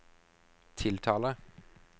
tiltaler